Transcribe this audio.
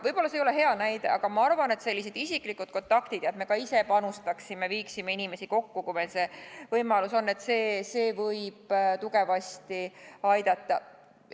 Võib-olla see ei ole hea näide, aga ma arvan, et selliseid isiklikud kontaktid ja see, et me ka ise panustame ja viime inimesi kokku, kui meil on võimalus, võib tugevasti aidata.